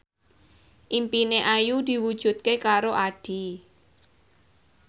impine Ayu diwujudke karo Addie